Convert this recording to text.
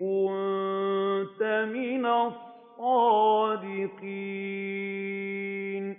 كُنتَ مِنَ الصَّادِقِينَ